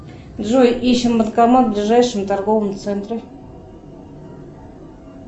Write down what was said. джой ищем банкомат в ближайшем торговом центре